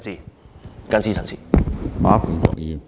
我謹此陳辭。